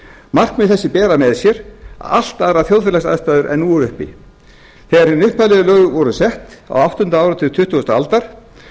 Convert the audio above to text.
markmið þessi bera með sér allt aðrar þjóðfélagsaðstæður en nú eru uppi þegar hin upphaflegu lög voru sett á áttunda áratug tuttugustu aldar